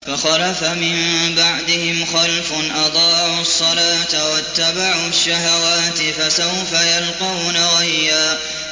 ۞ فَخَلَفَ مِن بَعْدِهِمْ خَلْفٌ أَضَاعُوا الصَّلَاةَ وَاتَّبَعُوا الشَّهَوَاتِ ۖ فَسَوْفَ يَلْقَوْنَ غَيًّا